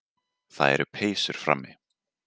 Það eru peysur frammi.